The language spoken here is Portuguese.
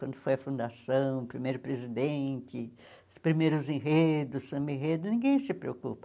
Quando foi a fundação, o primeiro presidente, os primeiros enredos, o semi-enredo, ninguém se preocupa.